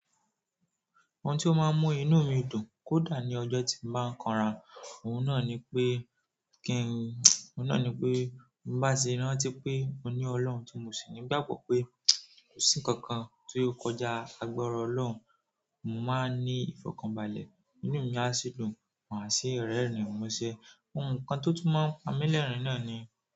Òun tí ó máa ń mú inú mi dùn kódà ní ọjọ́ tí mo bá ń kànra, òun náà ni pé kí n, òun náà ni pé mo bá ṣe rántí pé mo ní Ọlọ́run tí mo sì nígbàgbọ́ pé kò sí nkankan tí ò kọjá agbára Ọlọ́run, mo máa ní ìfọ̀kànbalẹ̀, inú mi á sì dùn, màá sì rẹ́rìn-ín, muse. Ohun kan tó túmọ̀ n pámi lérìn náà ni.